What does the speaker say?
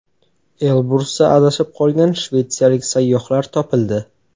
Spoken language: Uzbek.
Elbrusda adashib qolgan shvetsiyalik sayyohlar topildi.